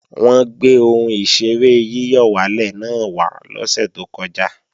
Wọ́n gbé ohùn ìṣeré yíyọ̀wálè náà wá lọ́sè tó kọjá